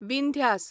Vindhyas